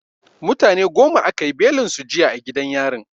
Mutane goma aka yi belin su jiya a gidan yarin.